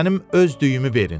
Mənim öz düyümü verin.